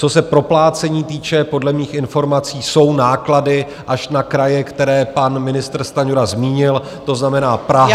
Co se proplácení týče, podle mých informací jsou náklady, až na kraje, které pan ministr Stanjura zmínil, to znamená Praha...